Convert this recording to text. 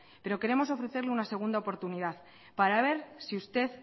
pero queremos ofrecerle una segunda oportunidad para ver si usted